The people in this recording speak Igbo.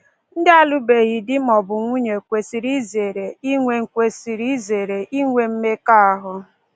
Ndị na-alụbeghị di ma ọ bụ nwunye kwesịrị izere inwe kwesịrị izere inwe mmekọahụ